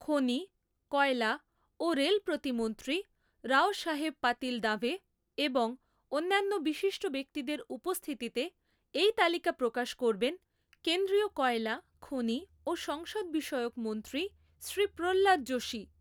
খনি, কয়লা ও রেল প্রতিমন্ত্রী রাওসাহেব পাতিল দাঁভে এবং অন্যান্য বিশিষ্ট ব্যক্তিদের উপস্থিতিতে এই তালিকা প্রকাশ করবেন কেন্দ্রীয় কয়লা, খনি ও সংসদ বিষয়ক মন্ত্রী শ্রী প্রহ্লাদ যোশী।